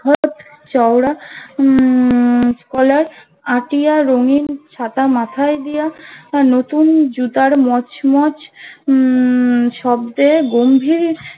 চওড়া উম কলার আটিয়া রঙীন ছাতা মাথাই দিয়া তার নতুন জুতার মচ মচ উম শব্দে গম্ভীর